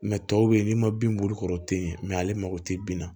tɔw bɛ yen n'i ma bin b'olu kɔrɔ o tɛ ye ale mago tɛ bin na